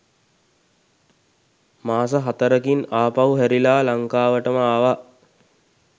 මාස හතරකින් ආපහු හැරිලා ලංකාවටම ආවා.